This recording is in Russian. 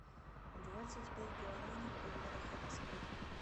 двадцать пять гуарани в долларах это сколько